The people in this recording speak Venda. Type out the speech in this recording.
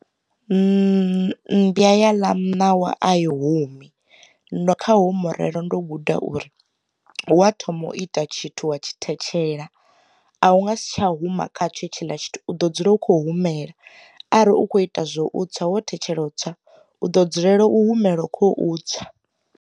Mmbwa ya ḽa muṋawa a i humi, ndo kha ho murero ndo guda uri, wa thoma u ita tshithu wa tshi thetshelesa a hu nga si tsha huma khatsho tshi ḽa tshithu u ḓo dzula u kho humela ari u kho ita zwo u tswa wo thetshelesa u tswa u ḓo dzulela u humela khou tswa.